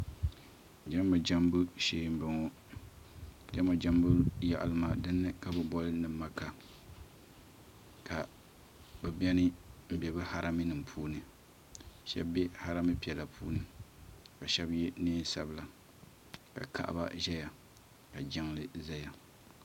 Jama jambu shee n bɔŋo jama jambu yaɣali maa dini ka bi boli ni maka ka bi bɛni bɛ bi harami nim puuni shɛba bɛ harami piɛla puuni ka shɛba yɛ niɛn sabila ka kaɣaba ʒɛya ka jiŋli zaya.